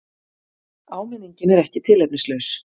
Áminningin er ekki tilefnislaus.